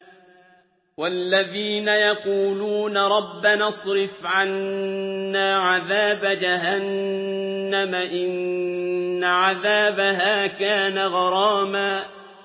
وَالَّذِينَ يَقُولُونَ رَبَّنَا اصْرِفْ عَنَّا عَذَابَ جَهَنَّمَ ۖ إِنَّ عَذَابَهَا كَانَ غَرَامًا